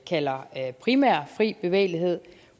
kalder primær fri bevægelighed